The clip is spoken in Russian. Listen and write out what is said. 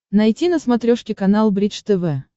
найти на смотрешке канал бридж тв